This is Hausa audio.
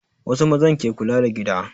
Wasu mazan ke kula da gida